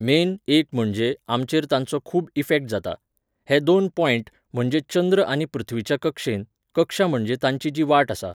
Main, एक म्हणजे, आमचेर तांचो खूब इफॅक्ट जाता. हे दोन पॉयंट, म्हणजे चंद्र आनी पृथ्वीच्या कक्षेंत, कक्षा म्हणजे तांची जी वाट आसा